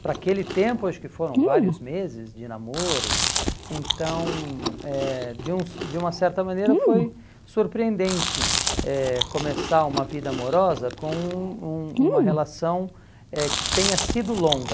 para aquele tempo acho que foram vários meses de namoro então eh de um de uma certa maneira foi surpreendente eh começar uma vida amorosa com um um uma relação eh que tenha sido longa